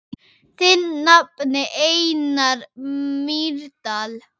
Þinn nafni, Einar Mýrdal.